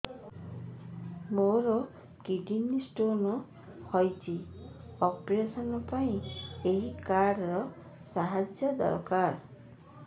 ମୋର kidney stone ହଇଛି operation ପାଇଁ ଏହି କାର୍ଡ ର ସାହାଯ୍ୟ ଦରକାର